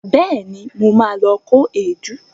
Bẹẹ̀ni, mo ma lọ kó èédú